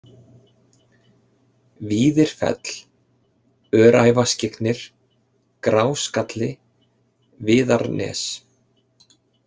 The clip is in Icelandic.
Víðirfell, Öræfaskyggnir, Gráskalli, Viðarnes